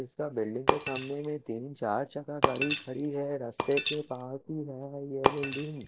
इसका बिल्डिंग के सामने तीन चार चक्का गाडी खड़ी है रस्ते के --